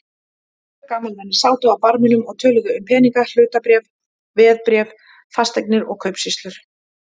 Tvö gamalmenni sátu á barminum og töluðu um peninga, hlutabréf, veðbréf, fasteignir og kaupsýslu.